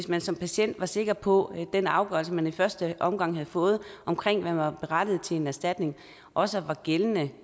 man som patient var sikker på at den afgørelse man i første omgang havde fået om at man var berettiget til en erstatning også var gældende